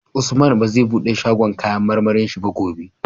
Usman bazai buɗe shagon kAnayan marmarin shi ba gobe